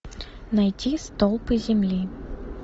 найти столпы земли